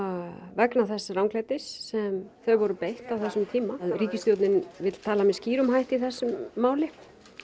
vegna þess ranglætis sem þau voru beitt á þessum tíma ríkisstjórnin vill tala með skýrum hætti í þessu máli